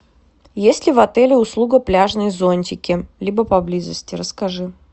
есть ли в отеле услуга пляжные зонтики либо поблизости расскажи